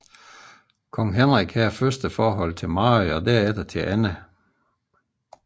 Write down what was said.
Kong Henrik havde først et forhold til Mary og derefter til Anne